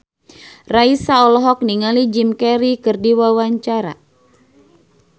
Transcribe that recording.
Raisa olohok ningali Jim Carey keur diwawancara